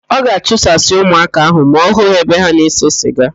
Ọ ga-achụsasị ụmụaka ahụ ma ọ hụ ha ebe ha na-ese siga?